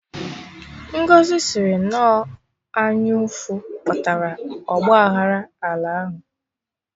Ngọzi sịrị na ọ anyụ ụfụ kpatara ọgba aghara ala ahụ